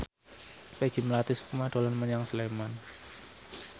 Peggy Melati Sukma dolan menyang Sleman